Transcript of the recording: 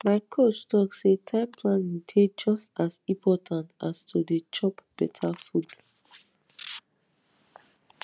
my coach talk say time planning dey just as important as to dey chop better food